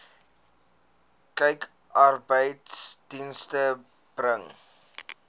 kyk arbeidsdienste bring